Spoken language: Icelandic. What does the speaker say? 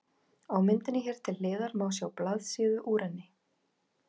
Á myndinni hér til hliðar má sjá blaðsíðu úr henni.